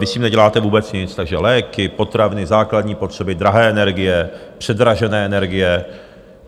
Vy s tím neděláte vůbec nic, takže léky, potraviny, základní potřeby, drahé energie, předražené energie.